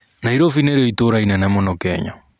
Nairobi nĩrĩo itũra inene mũno Kenya.